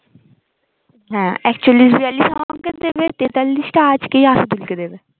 হ্যাঁ একচল্লিশ বিয়াল্লিশ আমাকে দেবে তেতাল্লিশটা আজকেই আসাদুল কে দেবে